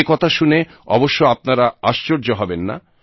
এ কথা শুনে অবশ্য আপনারা আশ্চর্য হবেন না